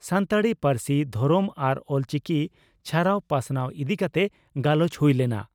ᱥᱟᱱᱛᱟᱲᱤ ᱯᱟᱹᱨᱥᱤ, ᱫᱷᱚᱨᱚᱢ ᱟᱨ ᱚᱞᱪᱤᱠᱤ ᱪᱷᱟᱨᱟᱣ ᱯᱟᱥᱱᱟᱣ ᱤᱫᱤ ᱠᱟᱛᱮ ᱜᱟᱞᱚᱪ ᱦᱩᱭ ᱞᱮᱱᱟ ᱾